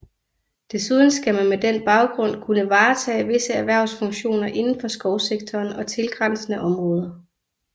Desuden skal man med den baggrund kunne varetage visse erhvervsfunktioner inden for skovsektoren og tilgrænsende områder